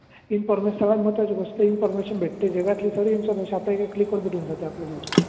information सगळ्यात महत्त्वाची गोष्ट इनफोर्मेशन भेटते जगातील सारी इन्फाॅर्मेशन आपल्याला एका क्लिकवर भेटुन जाते आपल्याला